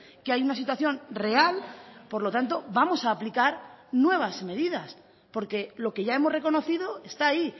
que hay una situación real por lo tanto vamos a aplicar nuevas medidas porque lo que ya hemos reconocido está ahí